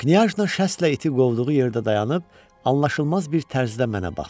Knyajna şəstlə iti qovduğu yerdə dayanıb, anlaşılmaz bir tərzdə mənə baxdı.